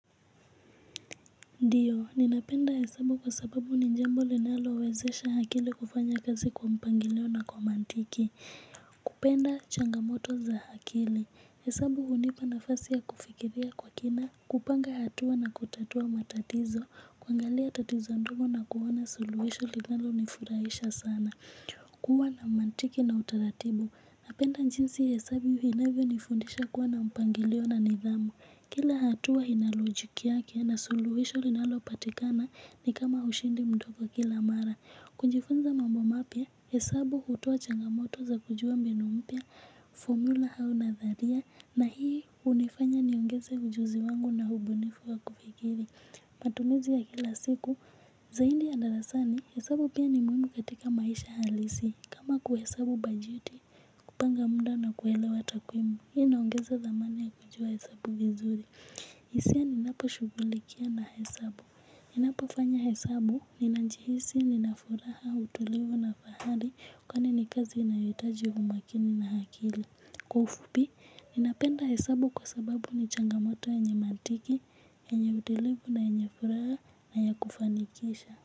Ndiyo, ninapenda hesabu kwa sababu nijambo linalo wezesha akili kufanya kazi kwa mpangilio na kwa mantiki. Kupenda changamoto za hakili. Hesabu hunipa nafasi ya kufikiria kwa kina, kupanga hatua na kutatua matatizo, kuangalia tatizo ndogo na kuona suluhisho linalo nifurahisha sana. Kuwa na mantiki na utaratibu, napenda jinsi hesabu inavyo nifundisha kuwa na mpangilio na nidhamu. Kila hatua inalojiki yake na suluhisho linalo patikana ni kama ushindi mdogo kila mara. Kujifunza mambo mapya hesabu hutoa changamoto za kujua mbinu mpya fomula au nadharia. Na hii hunifanya ni ongeze ujuzi wangu na ubunifu wa kufikiri. Matumizi ya kila siku zaidi ya darasani hesabu pia ni muhimu katika maisha halisi. Kama kuhesabu bajeti kupanga muda na kuelewa takwimu hii inaongeza thamani ya kujua hesabu vizuri. Sisemi ninapa shughulikia na hesabu. Ninapo fanya hesabu, ninajihisi, nina furaha, utulivu na fahari. Kwani ni kazi inayo hitaji umakini na akili. Kwa ufupi, ninapenda hesabu kwa sababu ni changamoto yenye mantiki, yenye utulivu na yenye furaha na ya kufanikisha.